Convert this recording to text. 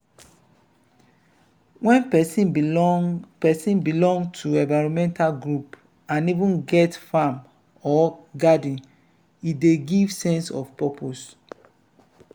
when person belong person belong to environmental group and even get farm or garden e dey give sense of purpose